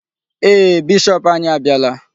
Ee, bishop anyị abịala.